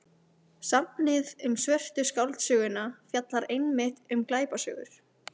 Safnið um Svörtu skáldsöguna fjallar einmitt um glæpasögur.